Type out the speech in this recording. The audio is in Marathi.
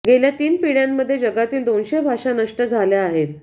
गेल्या तीन पिढ्यांमध्ये जगातील दोनशे भाषा नष्ट झाल्या आहेत